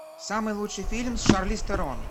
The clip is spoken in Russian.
самый лучший фильм с шарлиз терон